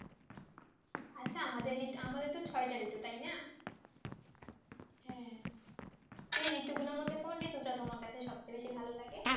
আছে আমাদের ছয় তা ঋতু তাই না হ্যাঁ এই ঋতুগুলো মধ্যে কোন ঋতু তোমার কাছে সবচেয়ে সবথেকে তোমার ভালো লাগে